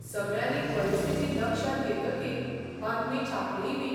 सगळ्यांनी परिस्थिती लक्षांत येतकीर बातमी छापलीयबी.